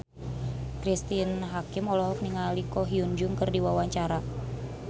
Cristine Hakim olohok ningali Ko Hyun Jung keur diwawancara